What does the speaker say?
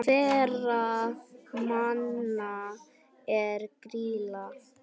Hverra manna er Grýla?